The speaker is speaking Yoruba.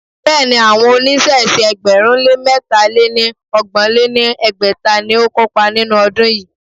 Béèni, àwọn oníṣẹ̀ṣe ẹgbẹ̀rún lé mẹ́ta lé ní ọgbọ̀n lé ní ẹgbẹ́ta ni ó kópa nínú ọdún yìí.